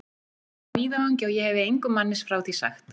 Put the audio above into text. Það var úti á víðavangi, og ég hefi engum manni frá því sagt.